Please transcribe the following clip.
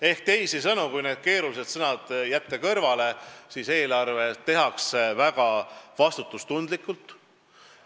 Ehk teisisõnu, kui need keerulised sõnad kõrvale jätta, siis eelarve tehakse väga vastutustundlikult.